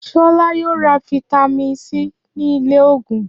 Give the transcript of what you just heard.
Ṣọlá yóò ra fataímìn C ní ilé-òògùn.